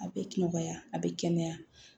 A bɛ nɔgɔya a bɛ kɛnɛya